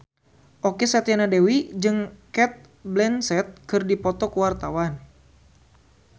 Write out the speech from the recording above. Okky Setiana Dewi jeung Cate Blanchett keur dipoto ku wartawan